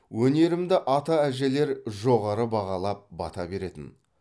өнерімді ата әжелер жоғары бағалап бата беретін